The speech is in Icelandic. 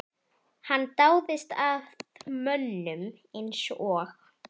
Hann dáðist að mönnum eins og